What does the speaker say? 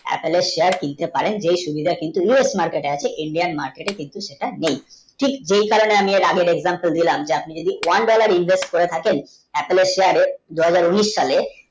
appl shear কিনতে পারেন যেই সুবিধা কিন্তু us market আছে india market কিন্তু সেটা নেই ঠিক যেই কারণে আমি আর আগের eixjam টা দিলাম আবার আপনি যদি one dollar থাকেন তাহলে দুহাজার উনিশ সালে